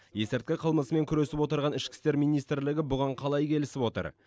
есірткі қылмысымен күресіп отырған ішкі істер министрлігі бұған қалай келісіп отыр